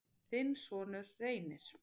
þinn sonur, Reynir.